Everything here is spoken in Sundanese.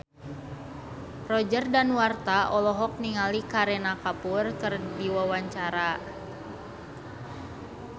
Roger Danuarta olohok ningali Kareena Kapoor keur diwawancara